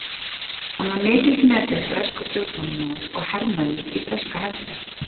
Hann var mikilsmetinn breskur stjórnmálamaður og hermaður í breska hernum.